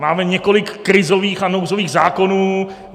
Máme několik krizových a nouzových zákonů.